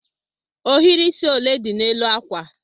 Ohiri isi ole dị n'elu akwa?